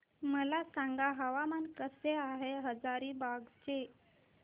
मला सांगा हवामान कसे आहे हजारीबाग चे